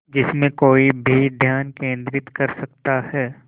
जिसमें कोई भी ध्यान केंद्रित कर सकता है